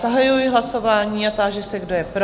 Zahajuji hlasování a táži se, kdo je pro?